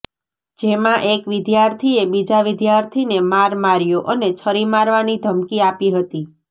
જેમાં એક વિદ્યાર્થીએ બીજા વિદ્યાર્થીને માર માર્યો અને છરી મારવાની ધમકી આપી હતી